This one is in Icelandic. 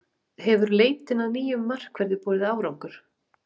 Hefur leitin að nýjum markverði borið árangur?